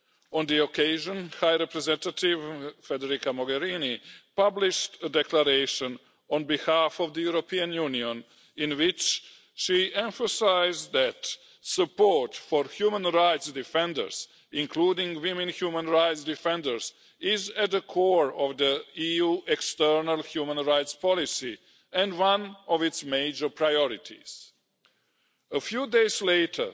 On the occasion, High Representative Federica Mogherini, published a declaration on behalf of the European Union, in which she emphasised that support for human rights defenders, including women human rights defenders, is at the core of the EU external human rights policy, and one of its major priorities. A few days later,